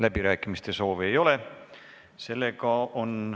Läbirääkimiste soovi ei ole.